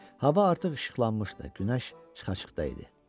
Hava artıq işıqlanmışdı, günəş çıxacaqda idi.